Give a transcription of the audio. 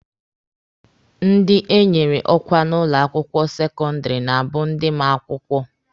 Ndị enyere ọkwa n'ụlọ akwụkwọ sekọndịrị na-abụ ndị ma akwụkwọ.